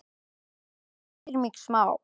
Það hræðir mig smá.